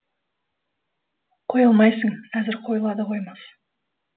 қоя алмайсың әзір қойыла да қоймас